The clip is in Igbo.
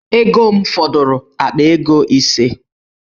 Ego m fọdụrụ akpa ego ise.